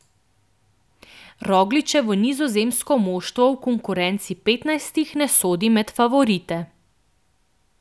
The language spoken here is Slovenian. Rogličevo nizozemsko moštvo v konkurenci petnajstih ne sodi med favorite.